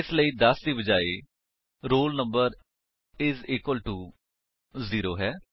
ਇਸ ਲਈ ਦਸ ਦੇ ਬਜਾਏ roll number is equal to zero ਹੈ